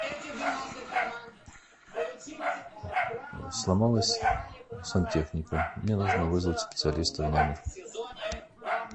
сломалась сантехника мне нужно вызвать специалиста в номер